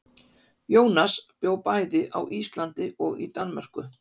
Jónas bjó bæði á Íslandi og í Danmörku.